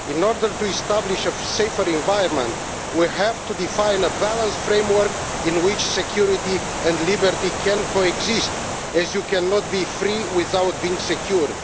In order to establish a safer environment, we have to define a balanced framework in which security and liberty can coexist, as you cannot be free without being secure.